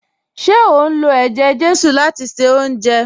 Ṣe o n lọ̀ èjè-jésù láti ṣẹ ọ̀unjẹ?